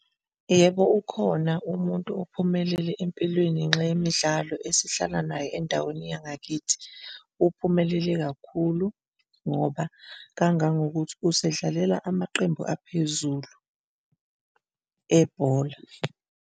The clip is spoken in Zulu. Yebo, ukhona umuntu ophumelele empilweni ngenxa yemidlalo esihlala naye endaweni yangakithi. Uphumelele kakhulu ngoba kangangokuthi usedlalela amaqembu aphezulu ebhola.